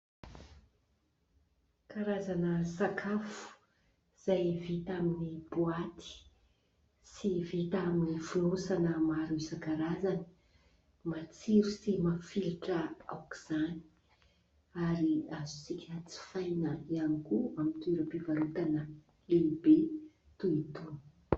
Karazana sakafo izay vita amin'ny boaty sy vita amin'ny fonosana maro isankarazany. Matsiro sy mafilotra aok'izany ary azontsika jifaina ihany koa amin'ny toerampivarotana lehibe toy itony.